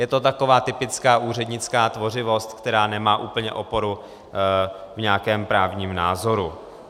Je to taková typická úřednická tvořivost, která nemá úplně oporu v nějakém právním názoru.